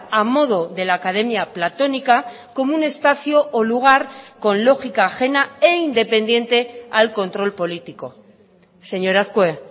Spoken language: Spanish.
a modo de la academia platónica como un espacio o lugar con lógica ajena e independiente al control político señor azkue